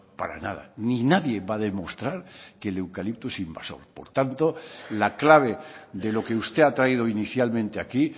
para nada ni nadie va a demostrar que el eucalipto es invasor por tanto la clave de lo que usted ha traído inicialmente aquí